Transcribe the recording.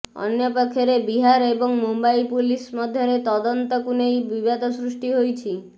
ଅନ୍ୟପକ୍ଷରେ ବିହାର ଏବଂ ମୁମ୍ବାଇ ପୁଲିସ ମଧ୍ୟରେ ତଦନ୍ତକୁ ନେଇ ବିବାଦ ସୃଷ୍ଟି ହୋଇଛି